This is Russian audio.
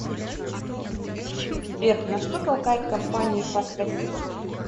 сбер на что толкает компании фас россии